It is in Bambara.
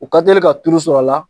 U ka teli ka turu sɔr'a la